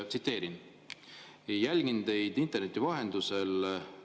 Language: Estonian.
Tsiteerin: "Jälgin teid interneti vahendusel.